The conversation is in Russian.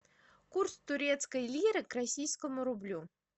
курс турецкой лиры к российскому рублю